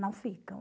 Não ficam.